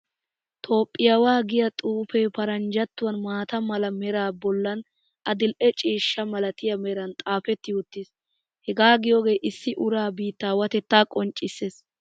Tophphiyaawaa giyaa xuufee faranjatuwan maata mala meraa bollan adidhdhe ciishsha malatiyaa meran xaafeti wottiis. Hegaa giyoogee issi uraa biittaawateta qonccisses.